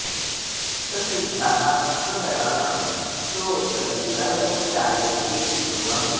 स सिद्धः स गणः सोऽथ गन्धर्वो जायते ध्रुवम्